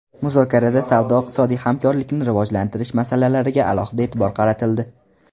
Muzokarada savdo-iqtisodiy hamkorlikni rivojlantirish masalalariga alohida e’tibor qaratildi.